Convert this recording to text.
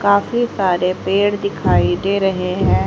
काफी सारे पेड़ दिखाई दे रहे हैं।